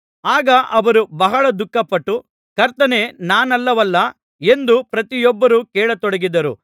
ಆಗ ಅವರು ಬಹಳ ದುಃಖಪಟ್ಟು ಕರ್ತನೇ ನಾನಲ್ಲವಲ್ಲಾ ಎಂದು ಪ್ರತಿಯೊಬ್ಬರು ಕೇಳತೊಡಗಿದರು